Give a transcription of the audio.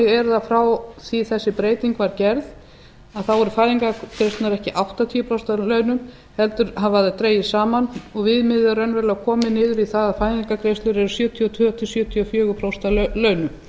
að frá því að þessi breyting var gerð eru fæðingargreiðslurnar ekki áttatíu prósent af launum heldur hafa þær dregist saman og viðmiðið er raunverulega komið niður í það að fæðingargreiðslur eru sjötíu og tvö til sjötíu og fjögur prósent af launum